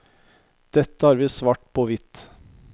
Dette har vi svart på hvitt.